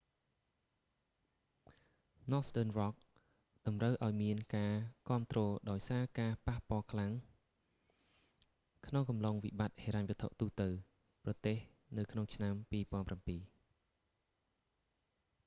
northern rock តម្រូវឲ្យមានការគាំទ្រដោយសារការប៉ះខ្លាំងក្នុងអំឡុងវិបត្តិហិរញ្ញវត្ថុ ទូទៅប្រទេសនៅក្នុងឆ្នាំ2007